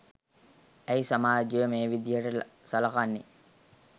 ඇයි සමාජය මේ විදිහට සලකන්නේ